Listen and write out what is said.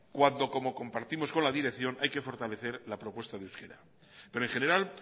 cuando como compartimos con la dirección hay que fortalecer la propuesta de euskera pero en general